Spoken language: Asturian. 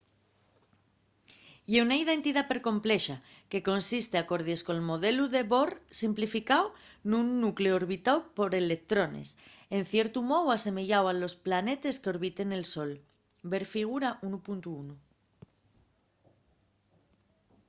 ye una entidá percomplexa que consiste acordies col modelu de bohr simplificáu nun nucleu orbitáu por electrones en ciertu mou asemeyáu a los planetes qu’orbiten el sol – ver figura 1.1